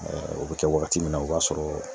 o be kɛ wagati min na, o b'a sɔrɔ